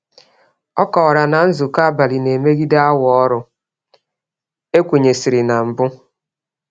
Ọ kọwara na nzukọ abalị na-emegide awa ọrụ e kwenyesịrị na mbụ.